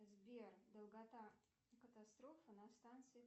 сбер долгота катастрофы на станции